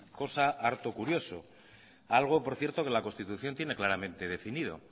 cosa harto curioso algo por cierto que la constitución tiene claramente definido